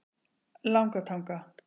Langatanga